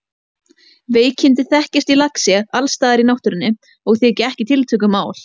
Veikindi þekkjast í laxi alls staðar í náttúrunni og þykja ekki tiltökumál.